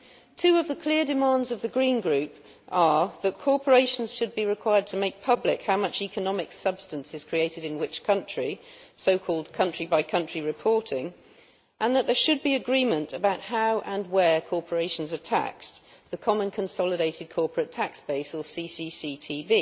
Two of the clear demands of the Green Group are that corporations should be required to make public how much economic substance is created in which country so called country by country reporting and that there should be agreement about how and where corporations are taxed the Common Consolidated Corporate Tax Base, or CCCTB.